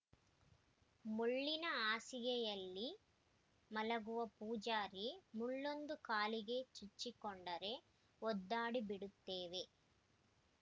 ಮುಳ್ಳಿನ ಹಾಸಿಗೆಯಲ್ಲಿ ಮಲಗುವ ಪೂಜಾರಿ ಮುಳ್ಳೊಂದು ಕಾಲಿಗೆ ಚುಚ್ಚಿಕೊಂಡರೇ ಒದ್ದಾಡಿಬಿಡುತ್ತೇವೆ